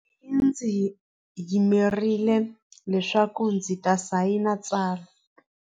Ntsumi yi ndzi yimerile leswaku ndzi ta sayina tsalwa.